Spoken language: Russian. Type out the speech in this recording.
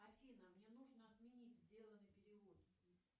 афина мне нужно отменить сделанный перевод